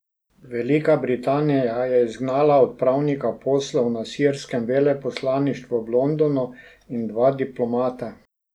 Velika Britanija je izgnala odpravnika poslov na sirskem veleposlaništvu v Londonu in dva diplomata.